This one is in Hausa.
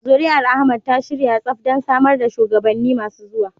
Zuri'ar Ahmad ta shirya tsaf don samar da shugabanni masu zuwa.